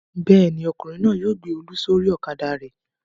Bẹ́ẹ̀ ni, ọkùnrin náà yóò gbé Olú sórí ọ̀kadà rẹ̀.